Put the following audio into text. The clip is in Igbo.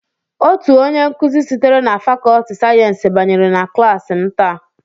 Otu onye nkuzi sitere na fàkọọtị sayensị banyere na klass m tàà